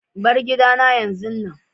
Bar gidana yanzun nan!